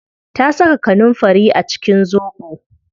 Ta saka kanunfari a cikin zobo